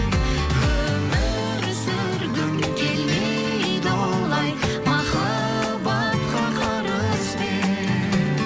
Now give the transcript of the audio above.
өмір сүргім келмейді олай махаббатқа қарызбен